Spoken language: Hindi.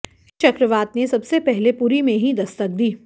इस चक्रवात ने सबसे पहले पुरी में ही दस्तक दी